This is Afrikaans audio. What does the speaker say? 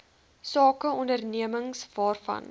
sake ondernemings waarvan